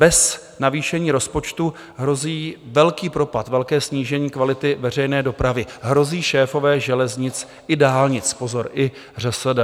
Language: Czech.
Bez navýšení rozpočtu hrozí velký propad, velké snížení kvality veřejné dopravy, hrozí šéfové železnic i dálnic - pozor, i ŘSD.